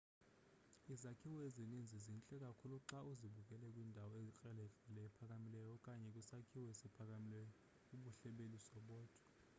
izakhiwo ezininzi zintle kakhulu xa uzibukele ukwindawo ekrelekrele ephakamileyo okanye kwisakhiwo esiphakamileyo bubuhle beliso bodwa